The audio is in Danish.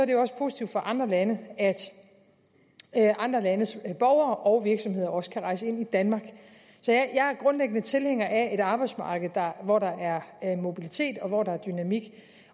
det også positivt for andre lande at andre landes borgere og virksomheder også kan rejse ind i danmark jeg er grundlæggende tilhænger af et arbejdsmarked hvor der er mobilitet og hvor der er dynamik